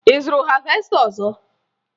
Ị zụtara havesta ọzọ?